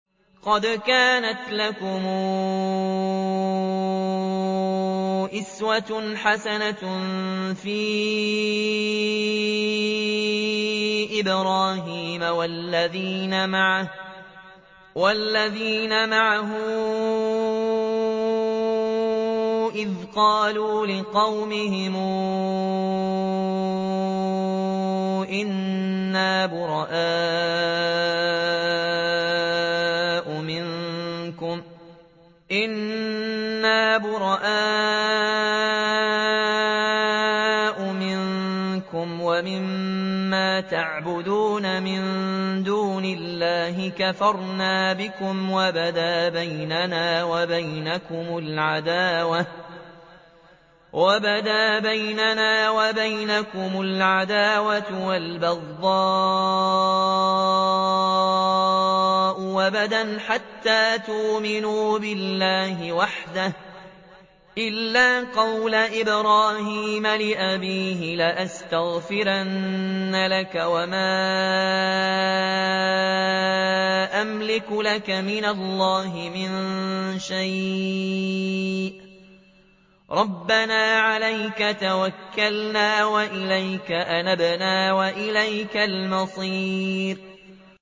قَدْ كَانَتْ لَكُمْ أُسْوَةٌ حَسَنَةٌ فِي إِبْرَاهِيمَ وَالَّذِينَ مَعَهُ إِذْ قَالُوا لِقَوْمِهِمْ إِنَّا بُرَآءُ مِنكُمْ وَمِمَّا تَعْبُدُونَ مِن دُونِ اللَّهِ كَفَرْنَا بِكُمْ وَبَدَا بَيْنَنَا وَبَيْنَكُمُ الْعَدَاوَةُ وَالْبَغْضَاءُ أَبَدًا حَتَّىٰ تُؤْمِنُوا بِاللَّهِ وَحْدَهُ إِلَّا قَوْلَ إِبْرَاهِيمَ لِأَبِيهِ لَأَسْتَغْفِرَنَّ لَكَ وَمَا أَمْلِكُ لَكَ مِنَ اللَّهِ مِن شَيْءٍ ۖ رَّبَّنَا عَلَيْكَ تَوَكَّلْنَا وَإِلَيْكَ أَنَبْنَا وَإِلَيْكَ الْمَصِيرُ